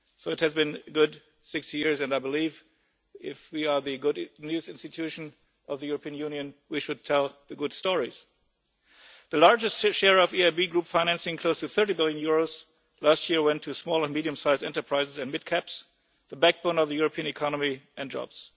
So it has been a good 60 years and I believe that if we are the good news' institution of the European Union we should tell the good stories. The largest share of EIB group financing, close of EUR 30 billion, last year went to small and medium sized and mid cap enterprises, the backbone of the European economy and jobs.